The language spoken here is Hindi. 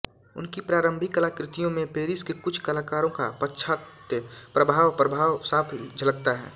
उनकी प्रारंभिक कलाकृतियों में पेरिस के कुछ कलाकारों का पाश्चात्य प्रभाव प्रभाव साफ झलकता है